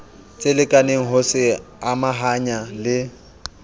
tselekaneng ho se amahanya le